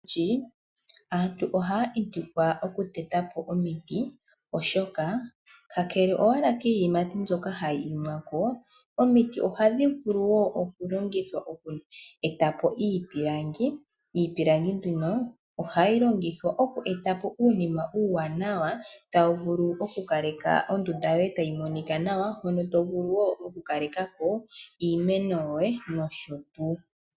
Olundji aantu ohaya pitikwa okuteta po omiti oshoka ka kele owala kiiyimati mbyoka hayi imi ko, omiti ohadhi vulu wo okulongithwa oku eta po iipilangi. Iipilangi ohayi longithwa oku eta po uunima uuwanawa tawu vulu okukale ka ondunda yoye tayi monika nawa hono to vulu wo okukaleka ko iimeno yoye nosho tuu.